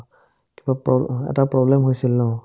অ, এটা problem হৈছিল ন ?